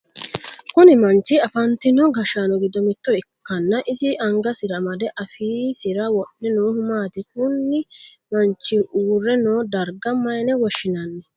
Kunni manchi afantino gashaano gido mitto ikanna isi angasira amade afiisira wodhe noohu maati? Kunni manchi uure noo darga mayine woshinnanni?